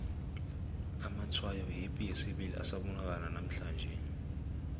amatshwayo yepi yesibili asabonakala nanamhlanje